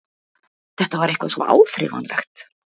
Þetta var eitthvað svo áþreifanlegt.